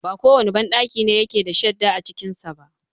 ba kowane banɗaki ne yake da shadda a cikinsa ba.